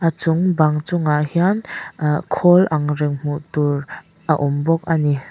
a chung bang chungah hian ahh khawl ang reng hmuh tur a awm bawk a ni.